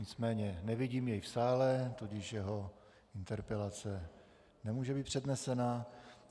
Nicméně nevidím jej v sále, tudíž jeho interpelace nemůže být přednesena.